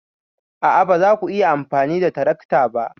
A'a, ba za ku iya amfani da tarakta ba.